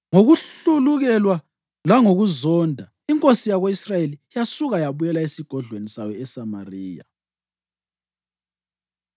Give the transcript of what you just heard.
Ngokuhlulukelwa langokuzonda, inkosi yako-Israyeli yasuka yabuyela esigodlweni sayo eSamariya.